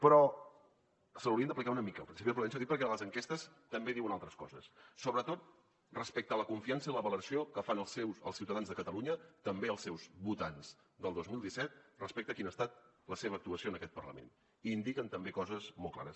però se l’haurien d’aplicar una mica el principi de prudència dic perquè les enquestes també diuen altres coses sobretot respecte a la confiança i la valoració que fan els ciutadans de catalunya també els seus votants del dos mil disset respecte a quina ha estat la seva actuació en aquest parlament i indiquen també coses molt clares